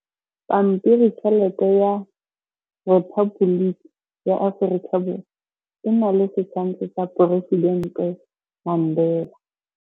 Pampiritšheletê ya Repaboliki ya Aforika Borwa e na le setshwantshô sa poresitentê Mandela.